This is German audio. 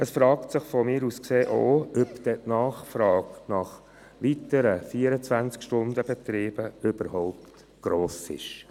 Aus meiner Sicht stellt sich auch die Frage, ob dann die Nachfrage nach weiteren 24-Stunden-Betrieben überhaupt gross ist.